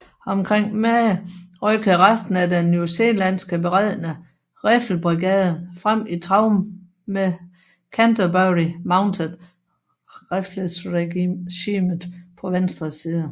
Omkring middag rykkede resten af den newzealandske beredne riffelbrigade frem i trav med Canterbury Mounted Rifles Regiment på venstre side